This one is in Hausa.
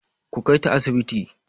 Ku kaita asibiti!